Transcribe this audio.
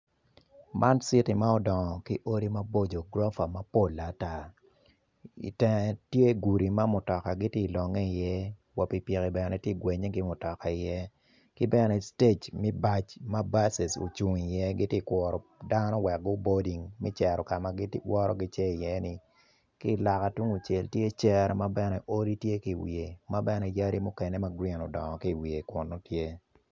Man citi ma odongo ki gurofa mapol ata i teng tye gudi ma mutoka tye ka longe iye wa pikipiki tye ka gwenye ki mutoka iye ki gene ma buc ocung iye gitye ka kuro me kuro dano me boding me cito ka ma gicito iye ni ki i loka tungcel tye cere ma yadi odongo iye tye.